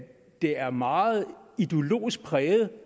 det er meget ideologisk præget